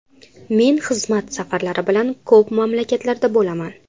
Men xizmat safarlari bilan ko‘p mamlakatlarda bo‘laman.